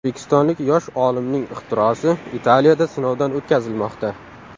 O‘zbekistonlik yosh olimning ixtirosi Italiyada sinovdan o‘tkazilmoqda.